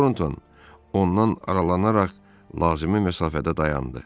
Tornton ondan aralanaraq lazımi məsafədə dayandı.